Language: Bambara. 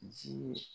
Ji